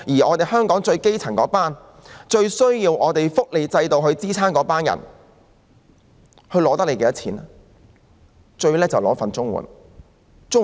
至於香港的基層市民及亟需福利制度支援的人，他們花費政府多少錢呢？